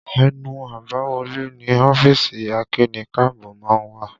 Ẹnu àbáwọlé ni ọ́fíìsì akíni-káàbọ́ má ń wà